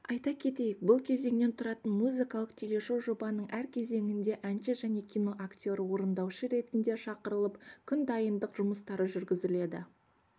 айта кетейік бұл кезеңнен тұратын музыкалық телешоу жобаның әр кезеңінде әнші және кино актері орындаушы ретінде шақырылып күн дайындық жұмыстары жүргізіледі